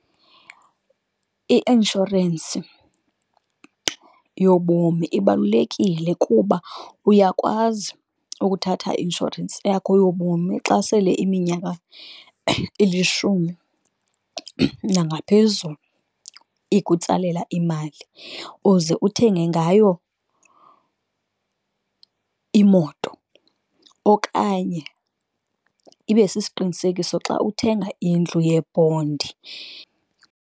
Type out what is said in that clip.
I-inshorensi yobomi ibalulekile kuba uyakwazi ukuthatha i-inshorensi yakho yobomi xa sele iminyaka ilishumi nangaphezulu, ikutsalela imali uze uthenge ngayo imoto, okanye ibe sisiqinisekiso xa uthenga indlu yebhondi.